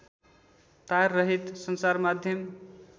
ताररहित सञ्चारमाध्यम